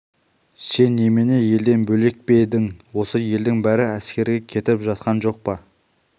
сен немене елден бөлек пе едің осы елдің бәрі әскерге кетіп жатқан жоқ па